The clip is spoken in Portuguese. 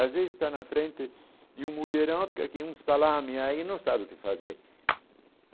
Às vezes está na frente de um mulherão e fica que nem um salame e aí e não sabe o que fazer.